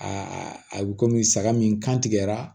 Aa a bɛ komi saga min kan tigɛra